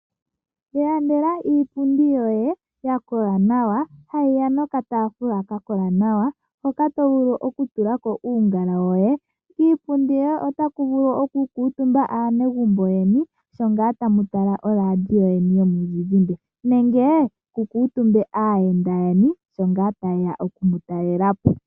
Ilandela iipundi yoye ya kola nawa ha yiya nokataafula ka kola nawa hoka to vulu okutula ko uungala woye. Kiipundi yoye otaku vulu okukuutumba aanegumbo lyoye sho ngaa tamu tala oradio yeni yomuzizimbe nenge kukuutumbe aayenda yeni shongaa tayeya okumutalela po.